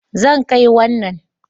Zan kai wannan